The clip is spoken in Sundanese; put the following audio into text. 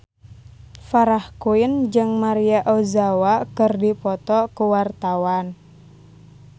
Farah Quinn jeung Maria Ozawa keur dipoto ku wartawan